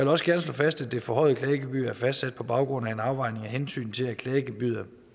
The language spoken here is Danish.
også gerne slå fast at det forhøjede klagegebyr er fastsat på baggrund af en afvejning af hensynet til at klagegebyret